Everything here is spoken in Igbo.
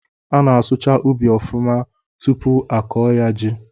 A na-asụcha ụbị ọfụma tụpụ a kọọ ya ji